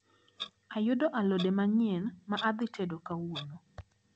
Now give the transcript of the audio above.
Ayudo alode manyien ma adhi tedo kawuono.